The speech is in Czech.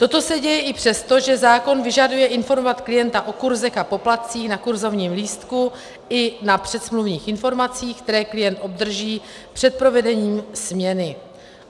Toto se děje i přesto, že zákon vyžaduje informovat klienta o kurzech a poplatcích na kurzovním lístku i na předsmluvních informacích, které klient obdrží před provedením směny.